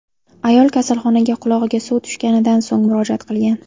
Ayol kasalxonaga qulog‘iga suv tushganidan so‘ng murojaat qilgan.